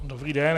Dobrý den.